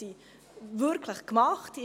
Wird sie wirklich gemacht?